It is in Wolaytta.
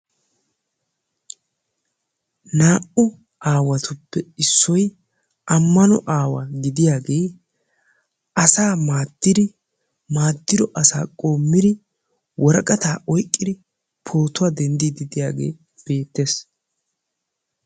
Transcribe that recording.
Naa'u aawatuppe issoy ammano aawa gidiyaagee asaa maaddidi maaddido asaa qoommidi pootuwaa denddiidi de'iyaagee beettees.